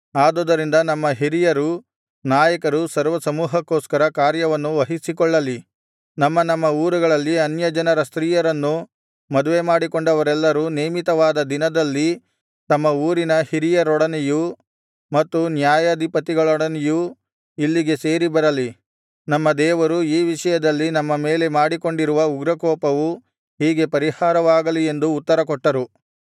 ಆದುದರಿಂದ ನಮ್ಮ ಹಿರಿಯರು ನಾಯಕರು ಸರ್ವಸಮೂಹಕ್ಕೋಸ್ಕರ ಕಾರ್ಯವನ್ನು ವಹಿಸಿಕೊಳ್ಳಲಿ ನಮ್ಮ ನಮ್ಮ ಊರುಗಳಲ್ಲಿ ಅನ್ಯಜನರ ಸ್ತ್ರೀಯರನ್ನು ಮದುವೆಮಾಡಿಕೊಂಡವರೆಲ್ಲರೂ ನೇಮಿತವಾದ ದಿನದಲ್ಲಿ ತಮ್ಮ ಊರಿನ ಹಿರಿಯರೊಡನೆಯೂ ಮತ್ತು ನ್ಯಾಯಾಧಿಪತಿಗಳೊಡನೆಯೂ ಇಲ್ಲಿಗೆ ಸೇರಿ ಬರಲಿ ನಮ್ಮ ದೇವರು ಈ ವಿಷಯದಲ್ಲಿ ನಮ್ಮ ಮೇಲೆ ಮಾಡಿಕೊಂಡಿರುವ ಉಗ್ರಕೋಪವು ಹೀಗೆ ಪರಿಹಾರವಾಗಲಿ ಎಂದು ಉತ್ತರಕೊಟ್ಟರು